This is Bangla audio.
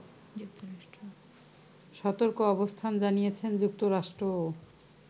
সতর্ক অবস্থান জানিয়েছে যুক্তরাষ্ট্রও